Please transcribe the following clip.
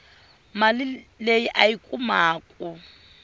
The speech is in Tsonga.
mali leyi a yi kumaku